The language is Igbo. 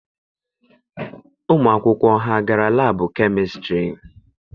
Ụmụ akwụkwọ ha gara laabụ kemistịrị?